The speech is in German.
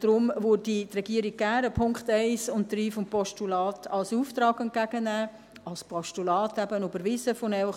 Daher würde die Regierung gerne die Punkte 1 und 3 des Postulats als Auftrag entgegennehmen, eben von Ihnen als Postulat überwiesen, um zusammen